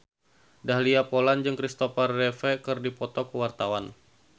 Dahlia Poland jeung Kristopher Reeve keur dipoto ku wartawan